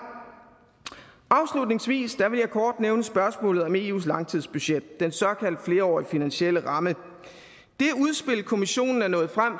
afslutningsvis vil jeg kort nævne spørgsmålet om eus langtidsbudget den såkaldt flerårige finansielle ramme det udspil kommissionen er nået frem